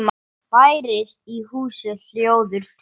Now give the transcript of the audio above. Bærist í húsi hljóður tregi.